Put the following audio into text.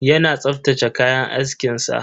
Yana tsaftace kayan askin sa.